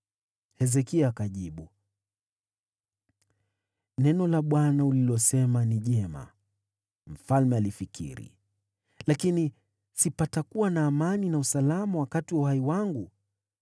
Hezekia akamjibu Isaya, “Neno la Bwana ulilosema ni jema.” Kwa kuwa alifikiri, “Lakini si patakuwa na amani na usalama wakati wa uhai wangu?”